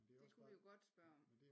Det kunne vi jo godt spørge om